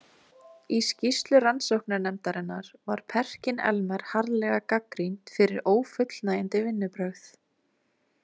Í skýrslu rannsóknarnefndarinnar var Perkin-Elmer harðlega gagnrýnt fyrir ófullnægjandi vinnubrögð.